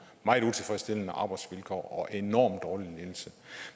meget utilfredsstillende arbejdsvilkår og enormt dårlig ledelse